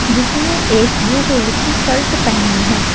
जिसने एक blue colour की सल्ट पहनी है।